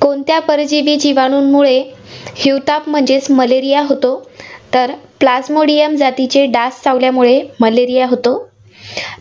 कोणत्या परजीवी जीवाणूंमुळे हिवताप म्हणजेचं malaria होतो? तर plasmodium जातीचे डास चावल्यामुळे malaria होतो.